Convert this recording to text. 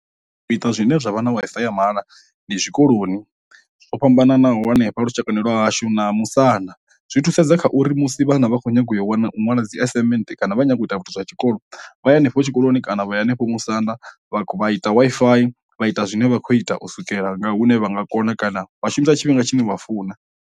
Zwine zwa vha na Wi-Fi ya mahala ndi zwikoloni zwo fhambananaho hanefha lushaka lwa hashu na musanda, zwi thusedza kha uri musi vhana vha kho nyaga u yo wana u ṅwala dzi assignment kana vha kho nyago u ita zwithu zwa tshikolo vhaya henefho tshikoloni kana vhaya hanefho musanda vha vha ita Wi-Fi vha ita zwine vha khou ita o swikela nga hune vha nga kona kana vha shumisa tshifhinga tshine vha funa.